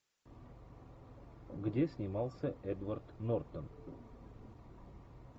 где снимался эдвард нортон